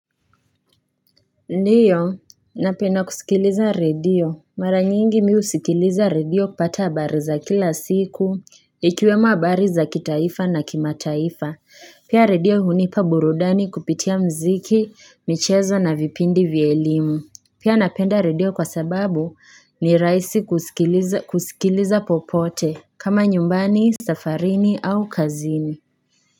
Ndiyo napenda kusikiliza radio mara nyingi mimi husikiliza radio kupata habari za kila siku ikiwemo habari za kitaifa na kimataifa pia radio hunipa burudani kupitia mziki michezo na vipindi vya elimu pia napenda radio kwa sababu ni raisi kusikiliza popote kama nyumbani safarini au kazini.